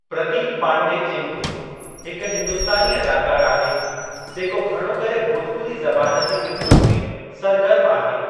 प्रदीप पांडे चिंटू हिकु हिंदुस्तानी अदाकारु आहे जेको घणो करे भोजपुरी ज़बान जी फ़िलमुनि में सरगर्मु आहे।